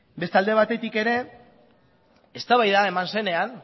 beste alde batetik ere eztabaida eman zenean